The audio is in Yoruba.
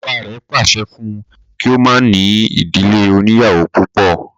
Bàbá rẹ̀ pàṣẹ fún un kí o má ní ìdílé oníyàwó púpọ̀